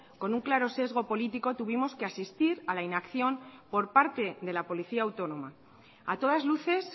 con un claro sesgo político tuvimos que asistir a la inacción por parte de la policía autónoma a todas luces